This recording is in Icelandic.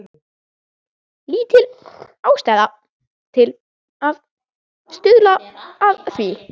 Lítil ástæða til að stuðla að því.